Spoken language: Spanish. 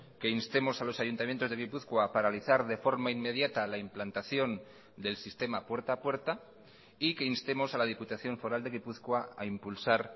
que instemos a los ayuntamientos de gipuzkoa a paralizar de forma inmediata la implantación del sistema puerta a puerta y que instemos a la diputación foral de gipuzkoa a impulsar